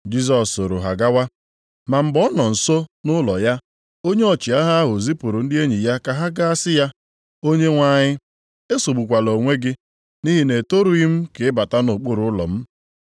Jisọs sooro ha gawa. Ma mgbe ọ nọ nso nʼụlọ ya, onye ọchịagha ahụ zipụrụ ndị enyi ya ka ha ga sị ya, “Onyenwe anyị, esogbukwala onwe gị, nʼihi na etorughị m ka ị bata nʼokpuru ụlọ m.